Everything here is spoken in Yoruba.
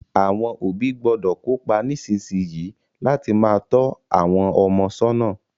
Àwon òbí gbọ́dọ̀ kópa nísinsìn yìí láti má to àwon ọmọ sọ́nà